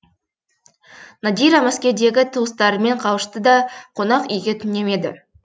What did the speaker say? надира мәскеудегі туыстарымен қауышты да қонақ үйге түнемеді